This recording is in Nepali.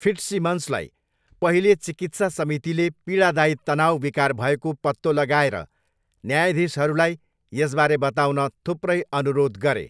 फिट्सिमन्सलाई पहिले चिकित्सा समितिले पीडादायी तनाउ विकार भएको पत्तो लगाएर न्यायाधीशहरूलाई यसबारे बताउन थुप्रै अनुरोध गरे।